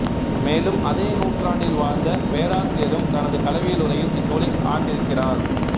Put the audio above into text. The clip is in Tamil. மேலும் அதே நூற்றாண்டில் வாழ்ந்த பேராசியரும் தனது களவியலுரையில் இந்நூலை ஆண்டிருக்கிறார்